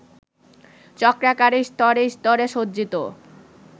চক্রাকারে স্তরে স্তরে সজ্জিত